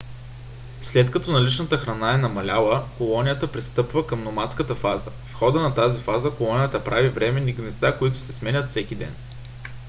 след като наличната храна е намаляла колонията пристъпва към номадска фаза. в хода на тази фаза колонията прави временни гнезда които се сменят всеки ден